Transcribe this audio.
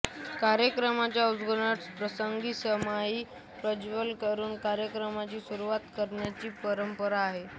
कार्यक्रमांच्या उद्घाटन प्रसंगी समईचे प्रज्वलन करून कार्यक्रमांची सुरुवात करण्याची परंपरा आहे